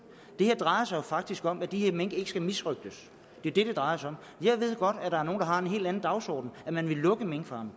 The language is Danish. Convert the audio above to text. det her drejer sig jo faktisk om at de her mink ikke skal misrøgtes det er det det drejer sig om jeg ved godt at der er nogle der har en helt anden dagsorden at man vil lukke minkfarmene